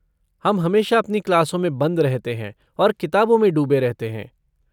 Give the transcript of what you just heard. हम हमेशा अपनी क्लासों में बंद रहते हैं और किताबों में डूबे रहते हैं।